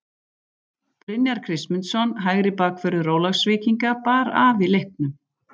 Brynjar Kristmundsson hægri bakvörður Ólafsvíkinga bar af í leiknum.